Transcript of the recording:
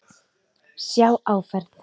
Sjá áferð.